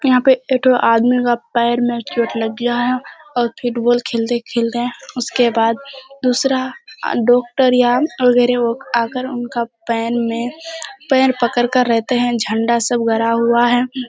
यहाँ पे एक ठो आदमी के पैर मे चोट लग गया है और फुटबॉल खेलते-खेलते उसके बाद दूसरा डॉक्टर या आकर उनका पैर में पैर पकड़कर रहते है झंडा सब गड़ा हुआ है ।